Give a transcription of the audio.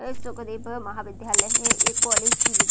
ऐ सुखदेव महा विध्यालय है ऐ कॉलेज की वि --